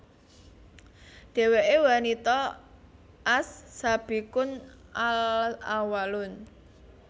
Dheweke wanita as Sabiqun al Awwalun